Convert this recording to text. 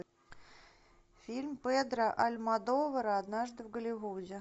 фильм педро альмодовара однажды в голливуде